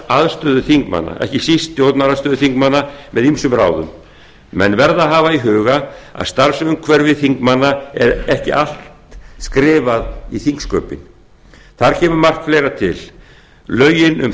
starfsaðstöðu þingmanna ekki síst stjórnarandstöðuþingmanna með ýmsum ráðum menn verða að hafa í huga að starfsumhverfi þingmanna er ekki allt skrifað í þingsköpin þar kemur margt fleira til lögin um